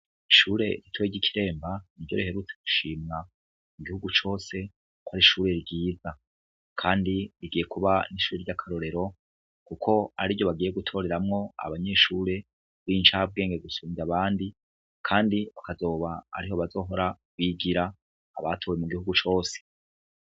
Ishure rito ry'i Kiremba, iriherutswe gushirwa mu gihugu cose ko ari ishure ryiza, kandi rigiye kuba ishure ry'akarorero, kuko ariryo bagiye gutoreramwo abanyeshure b'incabwenge gusumvya abandi, kandi akaba ariho bazohora bigira abatowe mu gihugu cose.